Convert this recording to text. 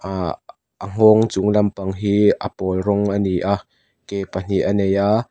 aa a nghawng chung lampang hi a pawl rawng a ni a ke pahnih a nei a.